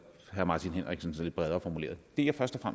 herre martin henriksens lidt bredere formuleret det jeg først og